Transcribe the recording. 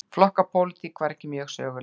Flokkapólitík var ekki mjög söguleg.